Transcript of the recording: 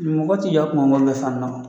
Mɔgɔ ti yɔ kumangɔn bɛ fandɔn